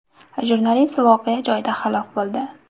Jurnalist voqea joyida halok bo‘ldi.